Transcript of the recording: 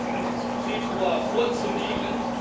20. Februar vorzunehmen?